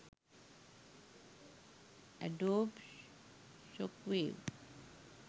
adobe shockwave